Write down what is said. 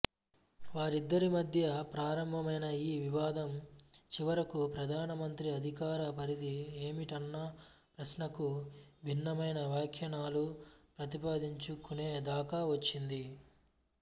వారిద్దరి మధ్య ప్రారంభమైన ఈ వివాదం చివరకు ప్రధానమంత్రి అధికార పరిధి ఏమిటన్న ప్రశ్నకు భిన్నమైన వ్యాఖ్యానాలు ప్రతిపాదించుకునేదాక వచ్చింది